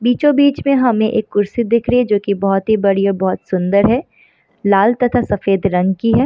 बीचो बीच हमें एक कुर्सी दिख रही हैं जो की बहुत ही बड़ी और बहुत सुन्दर है लाल तथा सफ़ेद रंग की है।